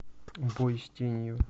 бой с тенью